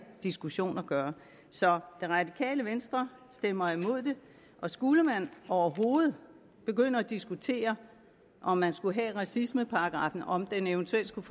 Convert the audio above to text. diskussion at gøre så det radikale venstre stemmer imod det og skulle man overhovedet begynde at diskutere om man skulle have racismeparagraffen og om den eventuelt skulle